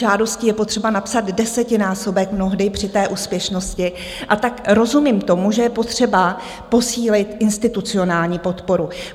Žádostí je potřeba napsat desetinásobek mnohdy při té úspěšnosti, a tak rozumím tomu, že je potřeba posílit institucionální podporu.